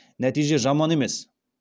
нәтиже жаман емес